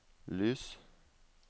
lys